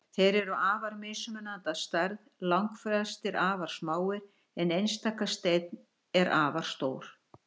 Þeir eru afar mismunandi að stærð, langflestir afar smáir en einstaka steinn er afar stór.